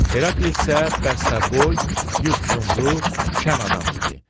Heraklit isə bəstəboy, yupyumru, şən adam idi.